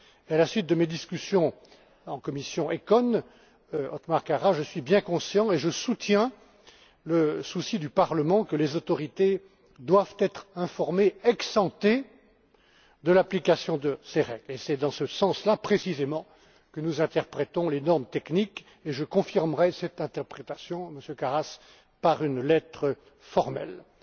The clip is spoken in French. À la suite de mes discussions en commissionECON, MonsieurKaras, je suis bien conscient et je soutiens le souci du Parlement que les autorités doivent être informées ex ante de l'application de ces règles. C'est dans ce sens, précisément, que nous interprétons les normes techniques. Je confirmerai cette interprétation, Monsieur Karas, par une lettre formelle.